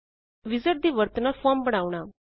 wizard ਦੀ ਵਰਤੋੰ ਨਾਲ ਫੋਰਮ ਬਣਾਉਣਾ